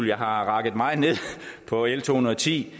jeg har rakket meget ned på l to hundrede og ti